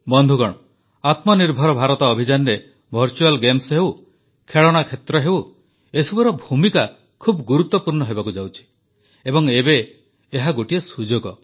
ବନ୍ଧୁଗଣ ଆତ୍ମନିର୍ଭର ଭାରତ ଅଭିଯାନରେ ଭର୍ଚୁଆଲ୍ ଗେମ୍ସ ହେଉ ଖେଳଣା କ୍ଷେତ୍ର ହେଉ ଏସବୁର ଭୂମିକା ଖୁବ ଗୁରୁତ୍ୱପୂର୍ଣ୍ଣ ହେବାକୁ ଯାଉଛି ଏବଂ ଏବେ ଏହା ଗୋଟିଏ ସୁଯୋଗ